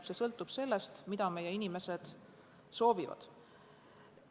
See sõltub sellest, mida meie inimesed soovivad.